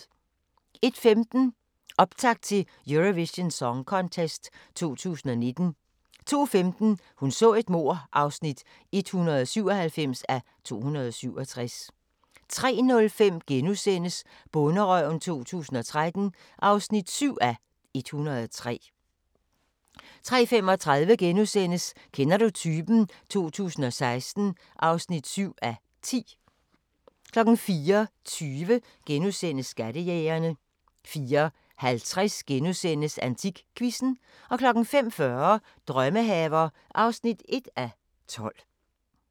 01:15: Optakt til Eurovision Song Contest 2019 02:15: Hun så et mord (197:267) 03:05: Bonderøven 2013 (7:103)* 03:35: Kender du typen? 2016 (7:10)* 04:20: Skattejægerne * 04:50: AntikQuizzen * 05:40: Drømmehaver (1:12)